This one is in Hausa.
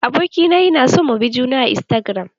Abokina yana son mu bi juna a istagiram.